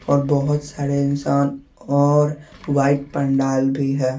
और बहुत सारे इंसान और वाइट पंडाल भी हैं।